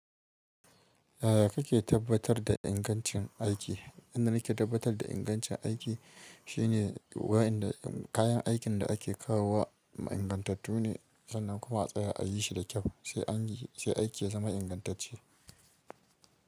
Yaya kake tabbatar da ingancin aiki? Inda nake tabbatar da ingancin aiki shine wayanda kayan aikin da ake kawo wa ingantattu ne, sannan kuma a tsaya a yi shi da kyau, sai aiki ya zama ingantacce.